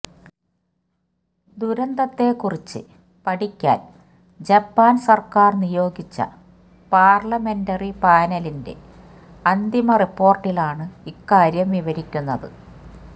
ദുരന്തത്തെ കുറിച്ച് പഠിക്കാന് ജപ്പാന് സര്ക്കാര് നിയോഗിച്ച പാര്ലമെന്ററി പാനലിന്റെ അന്തിമ റിപ്പോര്ട്ടിലാണ് ഇക്കാര്യം വിവരിക്കുന്നത്